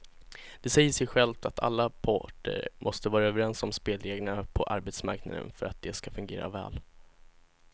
Det säger sig självt att alla parter måste vara överens om spelreglerna på arbetsmarknaden för att de ska fungera väl.